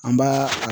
An b'a